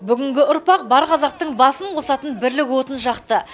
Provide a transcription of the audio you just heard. бүгінгі ұрпақ бар қазақтың басын қосатын бірлік отын жақты